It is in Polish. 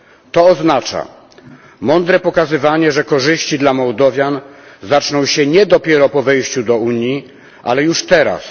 To oznacza mądre pokazywanie, że korzyści dla Mołdowian zaczną się nie dopiero po wejściu do Unii, ale już teraz.